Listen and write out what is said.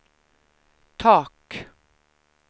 tak